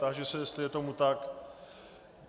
Táži se, jestli je tomu tak.